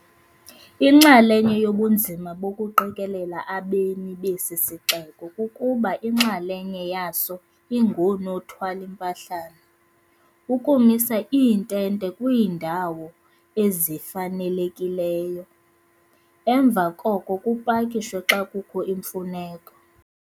Inxalenye yobunzima bokuqikelela abemi besi sixeko kukuba inxalenye yaso ingoonothwal ' impahlana, ukumisa iintente kwiindawo ezifanelekileyo, emva koko kupakishwe xa kukho imfuneko.